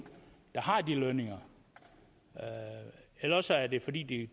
der har de lønninger eller også er det fordi